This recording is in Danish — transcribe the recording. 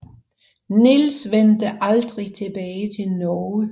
Niels vendte aldrig tilbage til Norge